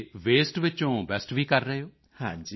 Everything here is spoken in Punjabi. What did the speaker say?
ਅਤੇ ਵਸਤੇ ਵਿੱਚੋਂ ਬੇਸਟ ਵੀ ਕਰ ਰਹੇ ਹੋ